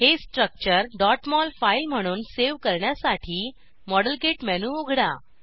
हे structure mol file म्हणून save करण्यासाठी मॉडेलकिट मेनू उघडा